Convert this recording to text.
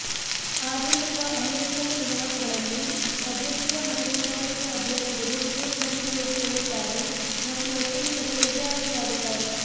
ಆಧುನಿಕ ಅಮೇರಿಕನ್ ಚುನಾವಣೆಗಳಲ್ಲಿ ಅಧ್ಯಕ್ಷೀಯ ಮತ್ತು ಉಪಾಧ್ಯಕ್ಷ ಅಭ್ಯರ್ಥಿಗಳು ಟಿಕೆಟ್ನಲ್ಲಿ ಸೇರಿಕೊಳ್ಳುತ್ತಾರೆ ಮತ್ತು ಒಟ್ಟಿಗೆ ಕಚೇರಿಗೆ ಆಯ್ಕೆಯಾಗುತ್ತಾರೆ